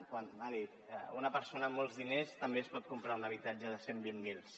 m’ha dit que una persona amb molts diners també es pot comprar un habitatge de cent i vint miler